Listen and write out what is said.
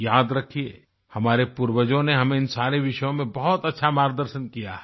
याद रखिये हमारे पूर्वजों ने हमें इन सारे विषयों में बहुत अच्छा मार्गदर्शन किया है